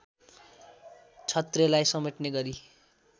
क्षत्रेलाई समेट्ने गरी